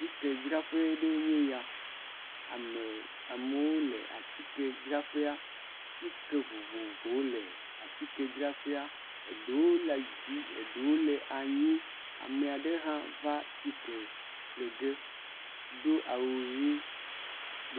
Atikedzraƒe ɖee nye ya. Ame, amewo leatikedzraƒea. Tike vovovowo le atikedzraƒea. Eɖewo le dzi, eɖewo le anyi. Ame aɖe hã va tike ƒle ge do awu ʋi.